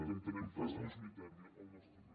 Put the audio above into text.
que entenem que és majoritària al nostre país